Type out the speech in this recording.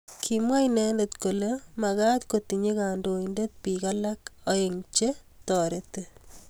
Kimwa inendet kole maktoi kotinye kandoindet bik alak aeng che toriti